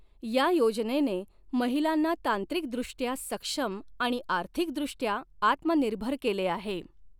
या योजनेने महिलांना तांत्रिकदृष्टया सक्षम आणि आर्थिकदृष्टय़ा आत्मनिर्भर केले आहे.